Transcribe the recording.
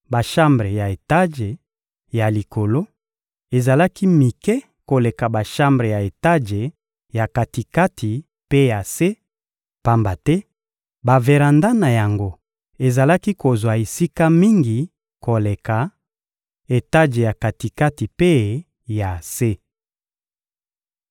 Bashambre ya etaje ya likolo ezalaki mike koleka bashambre ya etaje ya kati-kati mpe ya se, pamba te baveranda na yango ezalaki kozwa esika mingi koleka etaje ya kati-kati mpe ya se.